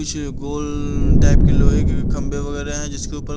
कुछ गोल टाइप के लोहे कंबे वघेरे हैं जिसके ऊपर--